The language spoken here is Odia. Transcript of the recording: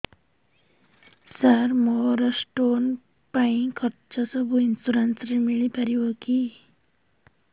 ସାର ମୋର ସ୍ଟୋନ ପାଇଁ ଖର୍ଚ୍ଚ ସବୁ ଇନ୍ସୁରେନ୍ସ ରେ ମିଳି ପାରିବ କି